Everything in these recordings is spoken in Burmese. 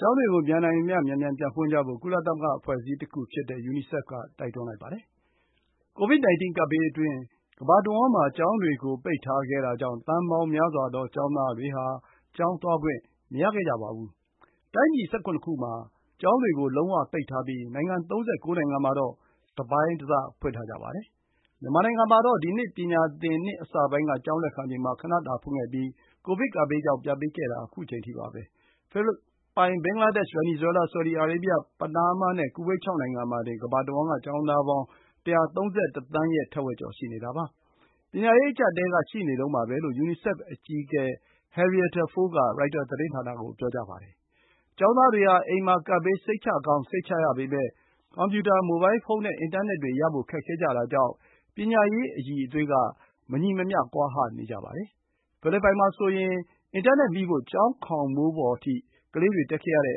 ကျောင်းတွေကို မြန်နိုင်သမျှ မြန်မြန်ပြန်ဖွင့်ကြဖို့ ကုလသမဂ္ဂ အဖွဲ့အစည်းတခုဖြစ်တဲ့ UNICEF က တိုက်တွန်းလိုက်ပါတယ်။ COVID-19 ကပ်ဘေးအတွင်း ကမ္ဘာတဝန်းမှာ ကျောင်းတွေကို ပိတ်ထားခဲ့တာကြောင့် သန်းပေါင်းများစွာသော ကျောင်းသားတွေဟာ ကျောင်းသွားခွင့် မရခဲ့ကြပါဘူး။ တိုင်းပြည် ၁၇ ခုမှာ ကျောင်းတွေကို လုံးဝ ပိတ်ထားပြီး ၃၉ နိုင်ငံမှာတော့ တပိုင်းတစ ဖွင့်ထားကြပါတယ်။ မြန်မာနိုင်ငံမှာတော့ ဒီနှစ် ပညာသင်နှစ်အစပိုင်းက ကျောင်းလက်ခံချိန်မှာ ခဏတာဖွင့်ခဲ့ပြီး ကိုဗစ်ကပ်ဘေးကြောင့် ပြန်ပိတ်ခဲ့တာ ခုချိန်ထိပါပဲ။ ဖိလစ်ပိုင်၊ ဘင်္ဂလားဒေ့ရှ်၊ ဗန်နီဇွဲလား၊ ဆော်ဒီအာရေဗျ၊ ပနားမားနဲ့ ကူဝိတ် ၆ နိုင်ငံမှာတင် ကမ္ဘာတဝန်းက ကျောင်းသားပေါင်း ၁၃၁ သန်း ရဲ့ ထက်ဝက်ကျော် ရှိနေတာပါ။ ပညာရေး အကျပ်အတည်းက ရှိနေတုန်းပါပဲလို့ ယူနီဆက်ဖ်အကြီးအကဲ Henrietta Fore က ရိုက်တာသတင်းဌာနကို ပြောပါတယ်။ ကျောင်းသားတွေဟာ အိမ်မှာ ကပ်ဘေး စိတ်ချရကောင်း စိတ်ချရပေမဲ့ ကွန်ပျူတာ၊ မိုဘိုင်းဖုန်းနဲ့ အင်တာနက်တွေရဖို့ ခက်ခဲကြတာကြောင့် ပညာရေးအရည်အသွေးက မညီမမျှ ကွာဟနေကြပါတယ်၊ ဖိလစ်ပိုင်မှာဆို အင်တာနက်မိဖို့ ကျောင်းခေါင်မိုးပေါ် ကလေးတွေတက်ရတဲ့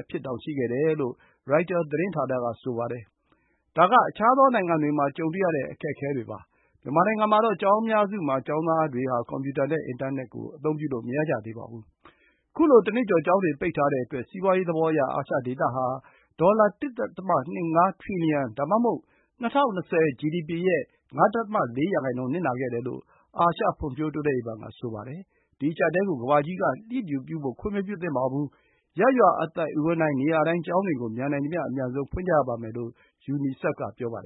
အဖြစ်တောင် ရှိတယ်လို့ ရိုက်တာသတင်းဌာနက ဆိုပါတယ်။ ဒါက အခြားသောနိုင်ငံတွေမှာ ကြုံတွေ့နေရတဲ့ အခက်အခဲ ဖြစ်ပါတယ်၊ မြန်မာနိုင်ငံမှာတော့ ကျောင်းအများစုမှာ ကျောင်းသားတွေဟာ ကွန်ပျူတာ နဲ့ အင်တာနက် အသုံးပြုလို့ မရကြသေးပါဘူး။ ခုလို တနှစ်ကျော် ကျောင်းတွေ ပိတ်ထားတဲ့အတွက် စီးပွးရေးသဘောအရ၊ အာရှဒေသဟာ ဒေါ်လာ ၁.၂၅ ထရီလီယံ ဒါမှမဟုတ် ၂၀၂၀ ဂျီဒီပီ ရဲ့ ၅.၄% နစ်နာခဲ့တယ် လို့ အာရှဖွံဖြိုးတိုးတက်ရေးဘဏ်က ဆိုပါတယ်။ ဒီ အကျပ်အတည်းကို ကမ္ဘာကြီးက လျစ်လျူပြုဖို့ ခွင့်မပြုသင့်ပါဘူး၊ ရပ်ရွာ အသိုက်အဝန်းတိုင်း၊ နေရာတိုင်း ကျောင်းတွေကို မြန်နိုင်သမျှ အမြန်ဆုံး ဖွင့်ကြရပါမယ် လို့ ယူနီဆက်က ပြောပါတယ်